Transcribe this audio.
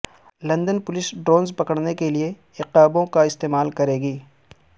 London police drones پکڑنے کے لیے عقابوں کا استعمال کرے گی